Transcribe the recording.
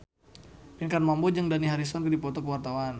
Pinkan Mambo jeung Dani Harrison keur dipoto ku wartawan